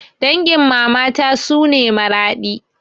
Dangin mamata suna Maradi